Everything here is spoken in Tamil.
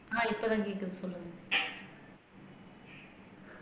ஆஹ் இப்பதான் கேக்குது சொல்லுங்க